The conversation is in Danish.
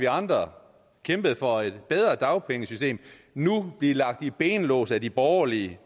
andre kæmpede for et bedre dagpengesystem nu blive lagt i benlås af de borgerlige